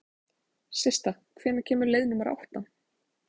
Systa, hvenær kemur leið númer átta?